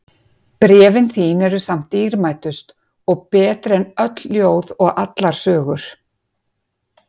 Bréfin þín eru samt dýrmætust og betri en öll ljóð og allar sögur.